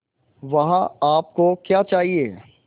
वहाँ आप को क्या चाहिए